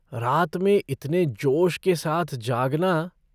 रात में इतने जोश के साथ जागना।